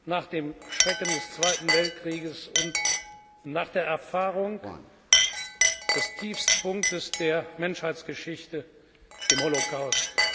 nach den Schrecken des Zweiten Weltkriegs und nach der Erfahrung des Tiefstpunkts der Menschheitsgeschichte dem Holocaust.